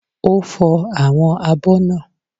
Ó fọ àwọn abọ́ náà